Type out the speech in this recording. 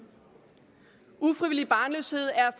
ufrivillig barnløshed er